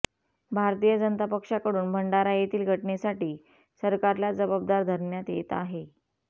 भारतीय जनता पक्षाकडून भंडारा येथील घटनेसाठी सरकारला जबाबदार धरण्यात येत आहे